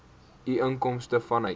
u inkomste vanuit